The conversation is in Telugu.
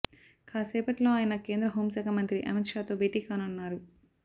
కాసేపట్లో ఆయన కేంద్ర హోంశాఖ మంత్రి అమిత్ షాతో భేటీ కానున్నారు